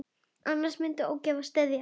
Annars myndi ógæfa steðja að.